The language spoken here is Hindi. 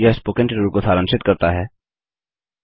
यह स्पोकन ट्यूटोरियल को सारांशित करता है